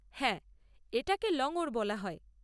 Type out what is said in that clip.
হ্যাঁ, এটাকে লঙ্গর বলা হয়।